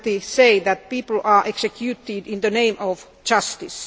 say that people are executed in the name of justice.